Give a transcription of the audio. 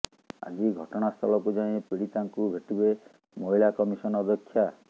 ଆଜି ଘଟଣାସ୍ଥଳକୁ ଯାଇ ପୀଡିତାଙ୍କୁ ଭେଟିବେ ମହିଳା କମିଶନ ଅଧ୍ୟକ୍ଷା